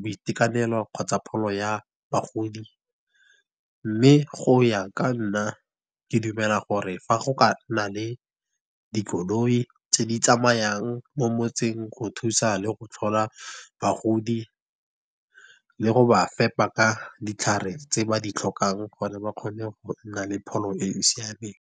boitekanelo, kgotsa pholo ya bagodi. Mme go ya ka nna ke dumela gore fa go ka nna le dikoloi tse di tsamayang mo motseng, go thusa le go tlhola bagodi, le go ba fepa ka ditlhare tse ba di tlhokang, gore ba kgone gonna le pholo e e siameng.